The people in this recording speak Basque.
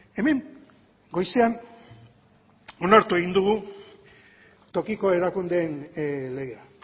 hemen goizean onartu egin dugu tokiko erakundeen legea